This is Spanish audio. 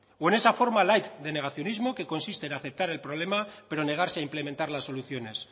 o en esa forma light de negacionismo que consiste en aceptar el problema pero negarse a implementar las soluciones